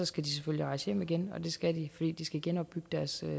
skal de selvfølgelig rejse hjem igen og det skal de fordi de skal genopbygge deres